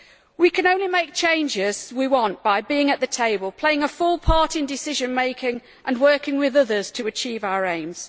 We can only make the changes we want by being at the table, playing a full part in decision making and working with others to achieve our aims.